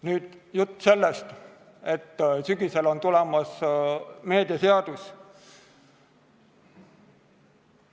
Nüüd jutt sellest, et sügisel on tulemas meediateenuste seadus.